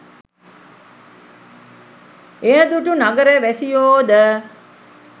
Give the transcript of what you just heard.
එය දුටු නගර වැසියෝ ද